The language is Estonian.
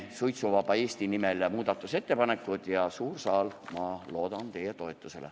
Teen Suitsuvaba Eesti nimel muudatusettepanekud ja, suur saal, ma loodan teie toetusele.